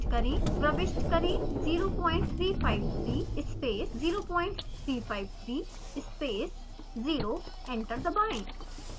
प्रविष्ट करें 0353 space 0353 space 0 enter दबाएं